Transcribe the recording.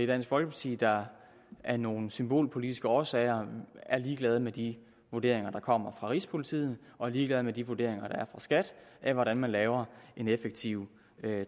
dansk folkeparti der af nogle symbolpolitiske årsager er ligeglade med de vurderinger der kommer fra rigspolitiet og er ligeglade med de vurderinger der er fra skat af hvordan man laver en effektiv